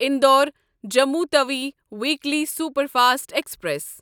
Indore Jammu Tawi weekly superfast express